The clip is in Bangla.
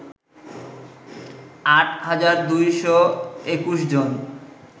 আট হাজার ২২১ জন